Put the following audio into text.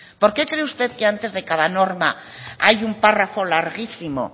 por qué cree usted que antes de cada norma hay un párrafo larguísimo